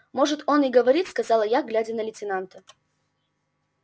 может он и говорит сказал я глядя на лейтенанта